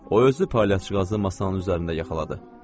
O özü palyaçıqazı masanın üzərində yaxaladı.